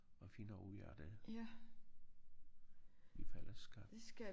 At finde ud af det i fællesskab